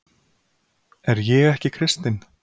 Er ég ekki kristinn?